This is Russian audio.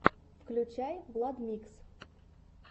включай владмикс